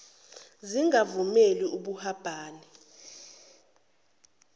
zingavumeli ub hubhane